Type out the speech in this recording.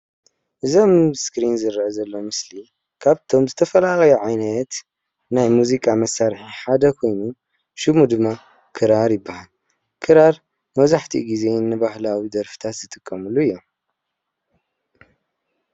እዚ አብ እስክሪነ ዝረአ ዘሎ ምስሊ ካበቶም ዝተፈላለዩ ዓይነት ናይ ሙዚቃ መሳርሒ ሓደ ኮይኑ ሹሙ ድማ ክራር ይበሃል። ክራር መብዛሕቱኡ ግዜ ንባሀላዊ ደርፈታት ዝጥቀምሉ እዩ።